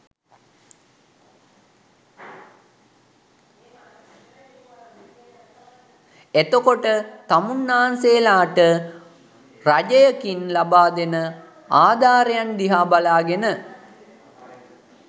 එතකොට තමුන්නාන්සේලාට රජයකින් ලබාදෙන ආධාරයන් දිහා බලාගෙන